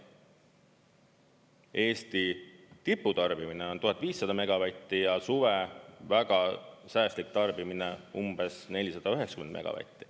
Eesti tiputarbimine on 1500 megavatti ja suve väga säästlik tarbimine umbes 490 megavatti.